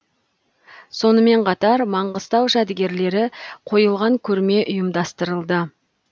сонымен қатар маңғыстау жәдігерлері қойылған көрме ұйымдастырылды